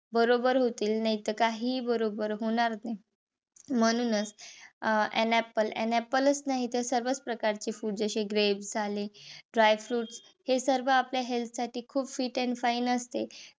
बरोबर होतील. नाहीतर काहीही बरोबर होणार नाही. म्हणूनच an apple an apple च नाहीतर सर्वच प्रकारचे fruits जसे grapes dry fruits हे सर्व आपल्या health साठी खूप fit and fine असते.